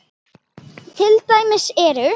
Til dæmis eru